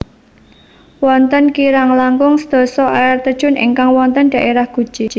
Wonten kirang langkung sedasa air terjun ingkang wonten dhaérah Guci